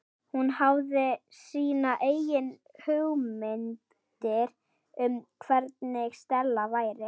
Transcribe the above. Hún hafði sínar eigin hugmyndir um hvernig Stella væri.